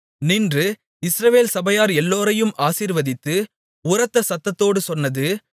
நின்று இஸ்ரவேல் சபையார் எல்லோரையும் ஆசீர்வதித்து உரத்த சத்தத்தோடு சொன்னது